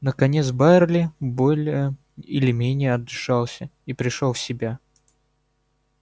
наконец байерли более или менее отдышался и пришёл в себя